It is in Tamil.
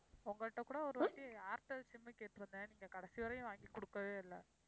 உங்கள்ட்ட கூட ஒரு வாட்டி ஏர்டெல் sim கேட்டிருந்தேன். நீங்கக் கடைசி வரையும் வாங்கி கொடுக்கவே இல்ல.